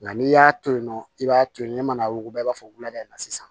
Nka n'i y'a to yen nɔ i b'a to yen ne mana wuguba i b'a fɔ wulada in na sisan